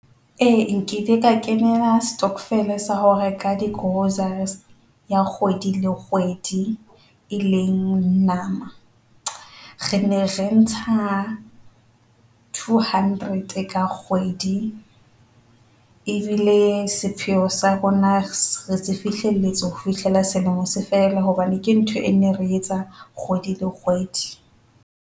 A nkile ka kenela stockvel sa ho reka di-groceries ya kgwedi le kgwedi, e leng nama. Re ne re ntsha two hundred ka kgwedi ebile sepheo sa rona se fihlelletse ho fihlela selemo se fela hobane ke ntho e ne re etsa kgwedi le kgwedi.